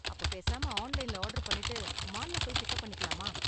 அப்ப பேசாம ஆன்லைன்ல ஆர்டர் பண்ணிட்டு மால்ல போய் பிக்கப் பண்ணிக்கலாமா?